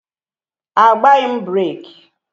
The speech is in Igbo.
Agbaghị m breeki